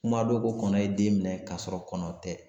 Kuma do ko kɔnɔ ye den minɛ k'a sɔrɔ kɔnɔ tɛ